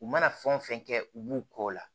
U mana fɛn wo fɛn kɛ u b'u kɔ o la